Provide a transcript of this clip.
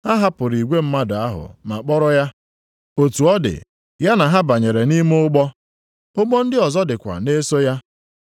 Ha hapụrụ igwe mmadụ ahụ ma kpọrọ ya, otu ọ dị, ya na ha banyere nʼime ụgbọ. Ụgbọ ndị ọzọ dịkwa na-eso ya.